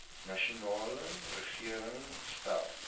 nasionale regering stel